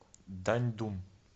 даньдун